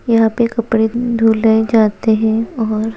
यहाँ पे कपड़े मम-- धूले जाते हैं ओर--